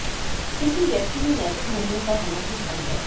किसी व्यक्ति में नैतिक मूल्यों का होना ही धर्म है